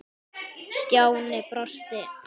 Stjáni brosti.